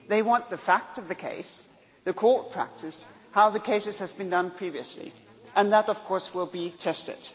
They want the facts of the case, the court practice, how the case has been decided previously, and that of course will be tested.